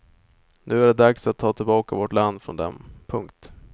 Nu är det dags att ta tillbaka vårt land från dem. punkt